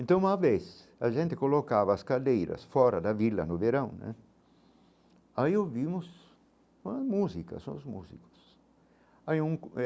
Então, uma vez a gente colocava as cadeiras fora da vila no verão né, aí ouvimos umas músicas, são os músicos aí um eh.